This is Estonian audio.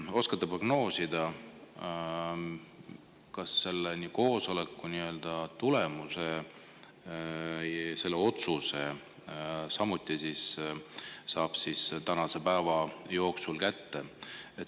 Oskate te prognoosida, kas selle koosoleku tulemuse või otsuse saab kätte tänase päeva jooksul?